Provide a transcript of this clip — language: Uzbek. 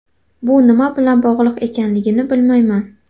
Bu nima bilan bog‘liq ekanligini bilmayman.